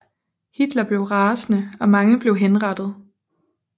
Hitler blev rasende og mange blev henrettet